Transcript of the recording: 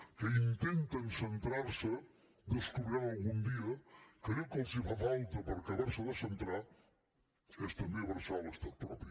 que intenten centrar se descobriran algun dia que allò que els fa falta per acabar se de centrar és també abraçar l’estat propi